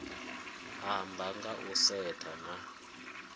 amba nga u setsha na